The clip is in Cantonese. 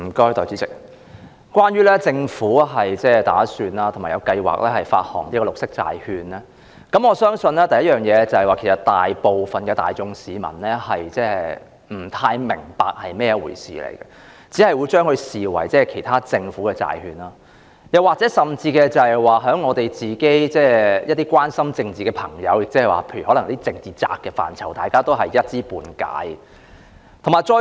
代理主席，關於政府計劃發行綠色債券，首先，我相信大部分市民其實不太明白是甚麼一回事，只會視之為其他政府債券，甚至是一些關心政治的朋友——例如"政治宅"——其實也是一知半解。